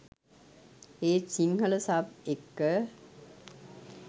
ඒත් සිංහල සබ් එක්ක